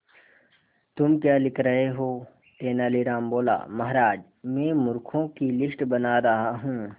तुम क्या लिख रहे हो तेनालीराम बोला महाराज में मूर्खों की लिस्ट बना रहा हूं